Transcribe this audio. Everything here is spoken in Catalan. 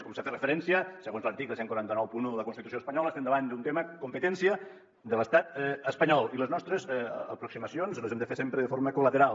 com s’ha fet referència segons l’article catorze noranta u de la constitució espanyola estem davant d’un tema competència de l’estat espanyol i les nostres aproximacions les hem de fer sempre de forma col·lateral